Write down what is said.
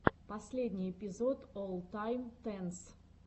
последний эпизод оллтайм тенс